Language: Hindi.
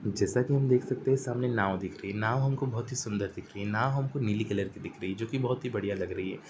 जैसा की हम देख सकते हैं कि सामने नाव दिख रही है। नाव हमको बहुत ही सुन्दर दिख रही है। नाव हमको नीली कलर की दिख रही है जो कि बहुत ही बढ़िया लग रही है।